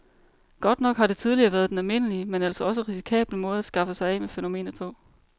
Godt nok har det tidligere været den almindelige, men altså også risikable måde at skaffe sig af med fænomenet på.